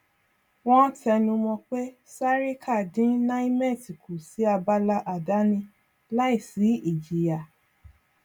wọn tẹnumọ pé sarika dín nimet kù sí abala àdáni láì sí ìjìyà